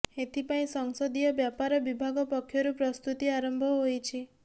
ଏଥିପାଇଁ ସଂସଦୀୟ ବ୍ୟପାର ବିଭାଗ ପକ୍ଷରୁ ପ୍ରସ୍ତୁତି ଆରମ୍ଭ ହୋଇଛି